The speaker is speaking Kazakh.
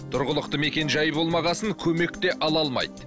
тұрғылықты мекен жайы болмаған соң көмек те ала алмайды